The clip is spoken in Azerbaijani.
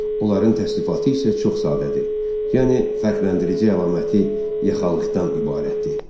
Onların təsnifatı isə çox sadədir, yəni fərqləndirici əlaməti yaxalıqdan ibarətdir.